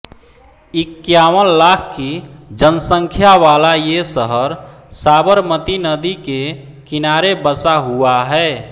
इक्क्यावन लाख की जनसंख्या वाला ये शहर साबरमती नदी के किनारे बसा हुआ है